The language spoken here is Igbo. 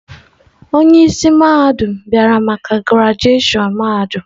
Onye isi mahadum bịara maka grajushon mahadum.